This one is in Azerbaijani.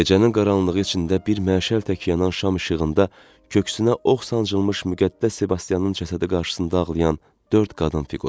Gecənin qaranlığı içində bir məşəl tək yanan şam işığında, köksünə ox sancılmış müqəddəs Sebastianın cəsədi qarşısında ağlayan dörd qadın fiquru.